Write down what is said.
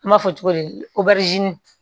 N b'a fɔ cogo di obɛrizini